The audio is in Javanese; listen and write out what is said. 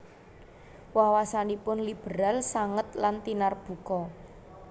Wawasanipun liberal sanget lan tinarbuka